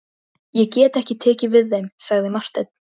Ég get ekki tekið við þeim, sagði Marteinn.